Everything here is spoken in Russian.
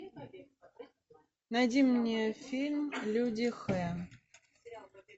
найди мне фильм люди х